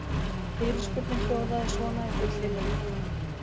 Fyrirspurnin hljóðaði svona í fullri lengd: